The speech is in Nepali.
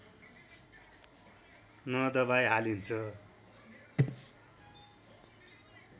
नदबाई हालिन्छ